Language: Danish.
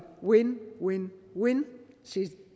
win win win